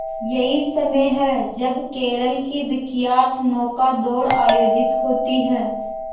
यही समय है जब केरल की विख्यात नौका दौड़ आयोजित होती है